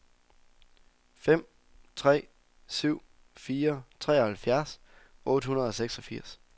fem tre syv fire treoghalvfjerds otte hundrede og seksogfirs